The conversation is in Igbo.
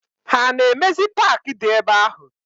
Ha na emezi park di ebe ahu?